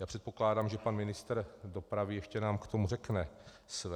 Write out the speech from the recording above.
Já předpokládám, že pan ministr dopravy ještě nám k tomu řekne své.